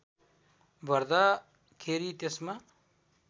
भर्दा खेरि त्यसमा